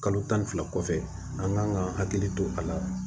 Kalo tan ni fila kɔfɛ an kan ka hakili to a la